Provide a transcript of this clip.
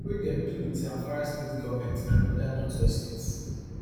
wey dem do wit zamfara state goment and oda northwest states